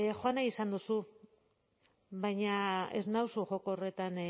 joan nahi izan duzu baina ez nauzu joko horretan